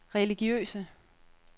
religiøse